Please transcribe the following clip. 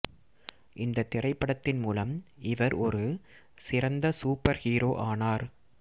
இந்த திரைப்படத்தின் மூலம் இவர் ஒரு சிறந்த சூப்பர் ஹீரோ ஆனார்